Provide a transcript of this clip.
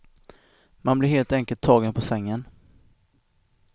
Man blir helt enkelt tagen på sängen.